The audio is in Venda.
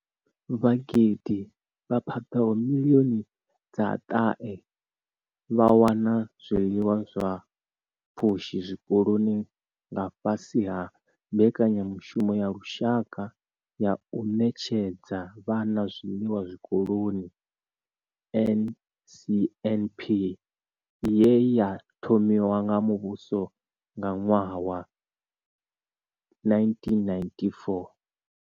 Vhagudi vha paḓaho miḽioni dza ṱahe vha wana zwiḽiwa zwa pfushi zwikoloni nga fhasi ha mbekanyamushumo ya lushaka ya u ṋetshedza vhana zwiḽiwa zwikoloni NSNP ye ya thomiwa nga muvhuso nga ṅwaha wa 1994.